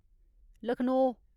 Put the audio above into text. Lucknow